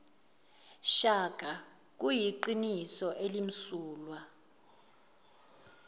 shaka kuyiqiniso elimsulwa